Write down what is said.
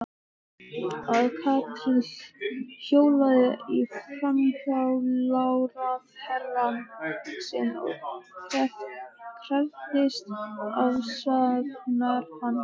Að Katrín hjólaði í fjármálaráðherrann sinn og krefðist afsagnar hans?